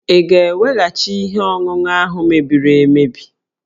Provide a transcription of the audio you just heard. Ị ga-eweghachi ihe ọṅụṅụ ahụ mebiri emebi?